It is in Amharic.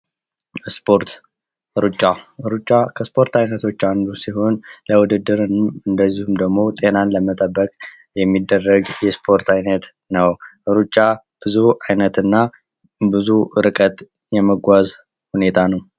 ስፖርት፦ ሩጫ ሩጫ ከስፖርት አይነቶች አንዱ ሲሆን ለውድድርም እንደዚሁም ደግሞ ጤናን ለመጠበቅ የሚደረግ የስፖርት አይነት ነው። ሩጫ ብዙ አይነትና ብዙ ርቀት የመጓዝ ሁኔታ ነው።